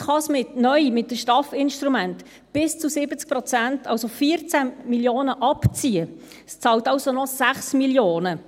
Jetzt kann es neu mit den STAF-Instrumenten bis zu 70 Prozent, also 14 Mio. Franken abziehen, es bezahlt also noch 6 Mio. Franken.